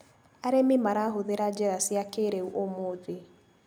Arĩmĩ marahũthĩra njĩra cia kĩrĩu ũmũthĩ.